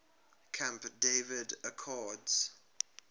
camp david accords